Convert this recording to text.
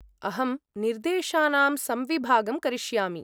अहं निर्देशानां संविभागं करिष्यामि।